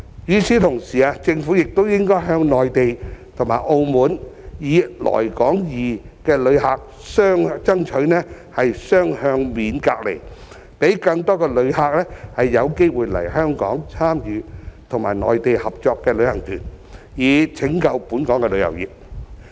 與此同時，政府亦應該向內地和澳門"來港易"的旅客爭取雙向免隔離，讓更多旅客有機會來港參與和內地合作的旅行團，以拯救本港的旅遊業。